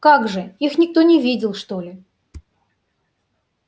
как же их никто не видел что ли